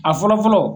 A fɔlɔ fɔlɔ